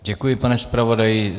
Děkuji, pane zpravodaji.